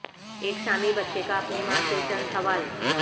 ایک شامی بچے کا اپنی ماں سے چند سوال